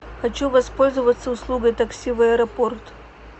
хочу воспользоваться услугой такси в аэропорт